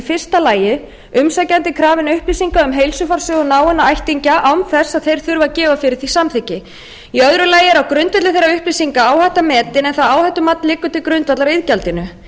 fyrsta lagi umsækjandi er krafinn upplýsinga um heilsufarssögu náinna ættingja án þess að þeir þurfi að gefa fyrir því samþykki í öðru lagi er á grundvelli þeirra upplýsinga áhætta metin en það áhættumat liggur til grundvallar iðgjaldinu